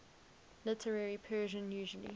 literary persian usually